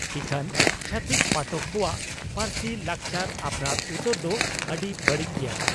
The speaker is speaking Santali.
ᱤᱠᱷᱟᱹᱱ ᱪᱷᱟᱹᱛᱤᱠ ᱯᱟᱴᱚᱠ ᱠᱚᱣᱟᱜ ᱯᱟᱹᱨᱥᱤ, ᱞᱟᱠᱪᱟᱨ ᱟᱯᱱᱟᱨ ᱩᱛᱟᱹᱨ ᱫᱚ ᱟᱹᱰᱤ ᱵᱟᱹᱲᱤᱡ ᱜᱮᱭᱟ ᱾